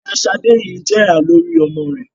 Ìyá Sadé yìí jẹ̀yà lórí ọmọ rẹ